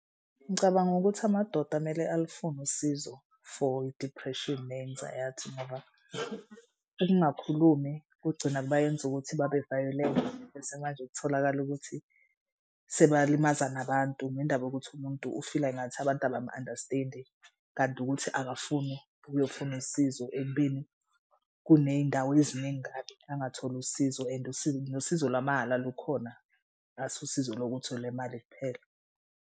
Ngicabanga ukuthi amadoda kumele alufune usizo for i-depression ne-anxiety ngoba ukungakhulumi kugcina bayenze ukuthi babevayolenti. Bese manje kutholakala ukuthi sebalimaza nabantu ngendaba yokuthi umuntu ufila engathi abantu abam-understand-i kanti ukuthi akafuni uyofuna usizo. Ekubeni kuney'ndawo eziningi kabi angatholi usizo and nosizo lwamahhala lukhona asusizo lokuthi elemali kuphela.